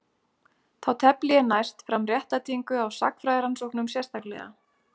Þá tefli ég næst fram réttlætingu á sagnfræðirannsóknum sérstaklega.